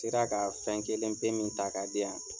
Sera ka fɛn kelen pe min ta k'a di yan